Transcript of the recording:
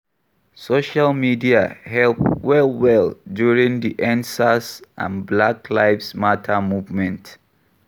Social media help well well during di Endsars and Black lives Matter movement